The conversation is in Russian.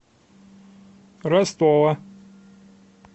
ростова